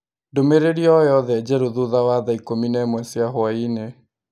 ndũmĩrĩri o yothe njerũ thutha wa thaa ikũmi na ĩmwe cia hwaĩinĩ